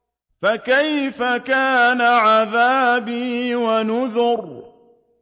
فَكَيْفَ كَانَ عَذَابِي وَنُذُرِ